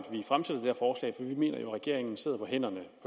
vi mener jo at regeringen sidder på hænderne